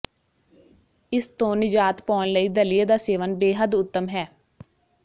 ਇਸ ਤੋਂ ਨਿਜਾਤ ਪਾਉਣ ਲਈ ਦਲੀਏ ਦਾ ਸੇਵਨ ਬੇਹੱਦ ਉੱਤਮ ਹੈ